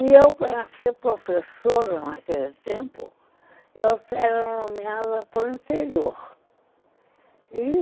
E eu para ser professora naquele tempo, eu era nomeada para o interior.